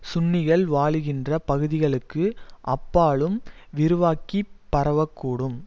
சுன்னிகள் வாழுகின்ற பகுதிகளுக்கு அப்பாலும் விரிவாக்கி பரவ கூடும்